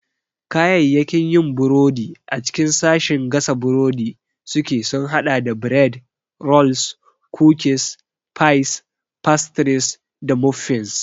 Kayayyakin yin burodi a cikin sashin gasa burodi suke sun haɗa da bread, rolls, cookies, pies, pastries, da muffins.